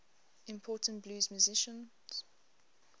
important blues musicians